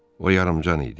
O yarımcan idi.